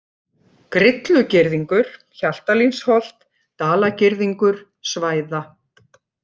Grillugirðingur, Hjaltalínsholt, Dalagirðingur, Svæða